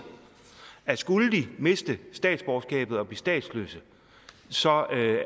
at skulle de miste statsborgerskabet og blive statsløse så